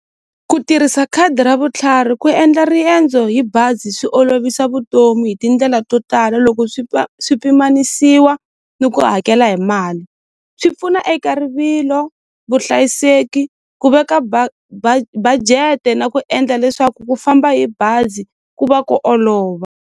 Ku tirhisa khadi ra vutlhari ku endla riendzo hi bazi swi olovisa vutomi hi tindlela to tala loko swi swi pimanisiwa ni ku hakela hi mali swi pfuna eka rivilo vuhlayiseki ku veka budget-e na ku endla leswaku ku famba hi bazi ku va ku olova.